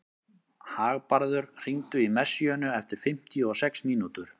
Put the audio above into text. Hagbarður, hringdu í Messíönu eftir fimmtíu og sex mínútur.